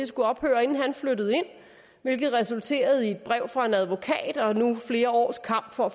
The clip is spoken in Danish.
skulle ophøre men det resulterede i et brev fra en advokat og nu flere års kamp for at